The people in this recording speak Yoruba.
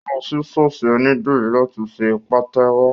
Ó lọ sí ṣọ́ọ̀ṣì ònídìrí láti ṣe pàtẹ́wọ́